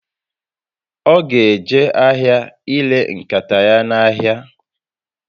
O ga eje ahịa ire nkata ya n'ahịa